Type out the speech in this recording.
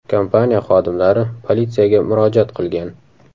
Kompaniya xodimlari politsiyaga murojaat qilgan.